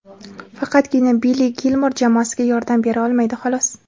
Faqatgina Billi Gilmor jamoasiga yordam bera olmaydi, xolos.